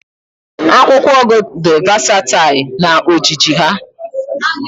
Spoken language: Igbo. Akwụkwọ ugu di vasatail na ojiji ha